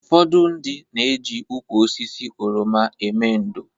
Ụfọdụ ndị na-eji ukwu osisi oroma eme ndò